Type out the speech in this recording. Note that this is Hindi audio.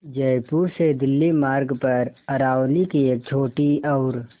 जयपुर से दिल्ली मार्ग पर अरावली की एक छोटी और